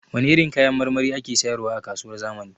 Wane irin kayan marmari ake sayar wa a kasuwar zamani?